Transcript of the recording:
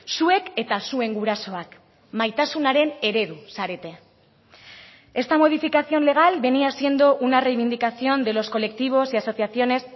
zuek eta zuen gurasoak maitasunaren eredu zarete esta modificación legal venía siendo una reivindicación de los colectivos y asociaciones